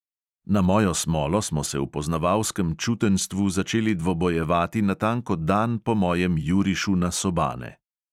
Na mojo smolo smo se v poznavalskem čutenjstvu začeli dvobojevati natanko dan po mojem jurišu na sobane.